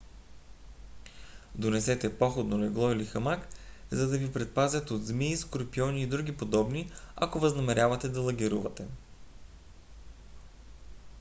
донесете походно легло или хамак за да ви предпазят от змии скорпиони и други подобни ако възнамерявате да лагерувате